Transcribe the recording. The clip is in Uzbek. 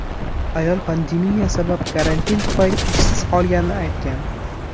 Ayol pandemiya sabab karantin tufayli ishsiz qolganini aytgan.